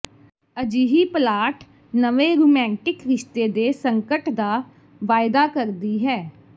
ਅਜਿਹੀ ਪਲਾਟ ਨਵੇਂ ਰੂਮੈਂਟਿਕ ਰਿਸ਼ਤੇ ਦੇ ਸੰਕਟ ਦਾ ਵਾਅਦਾ ਕਰਦੀ ਹੈ